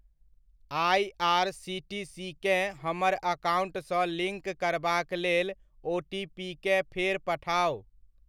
IRCTC केँ हमर अकाउण्टसँ लिङ्क करबाक लेल ओटीपीकेँ फेर पठाउ।